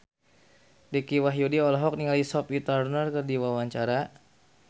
Dicky Wahyudi olohok ningali Sophie Turner keur diwawancara